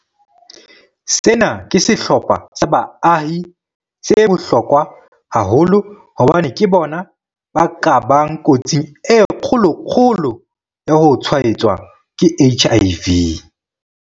Sena ke sehlopha sa baahi se bohlokwa haholo hobane ke bona ba ka bang kotsing e kgolo-kgolo ya ho tshwaetswa ke HIV.